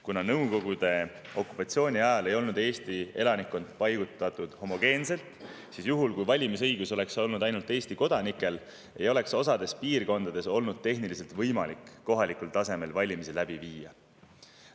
Kuna Nõukogude okupatsiooni ajal ei paiknenud Eesti elanikkond homogeenselt, siis juhul, kui valimisõigus oleks olnud ainult Eesti kodanikel, ei oleks osades piirkondades olnud tehniliselt võimalik kohalikul tasemel valimisi läbi viia.